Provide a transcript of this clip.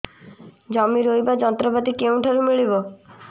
ଜମି ରୋଇବା ଯନ୍ତ୍ରପାତି କେଉଁଠାରୁ ମିଳିବ